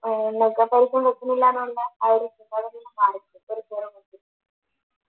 ഏർ കൊടുക്കുന്നില്ലാന്ന് പറഞ്ഞാ